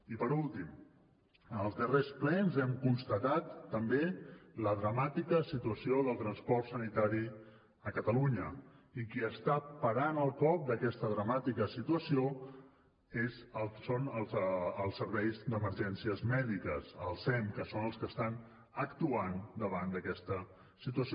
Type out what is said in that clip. i per últim en els darrers plens hem constatat també la dramàtica situació del transport sanitari a catalunya i qui està parant el cop d’aquesta dramàtica situació són els serveis d’emergències mèdiques el sem que són els que estan actuant davant d’aquesta situació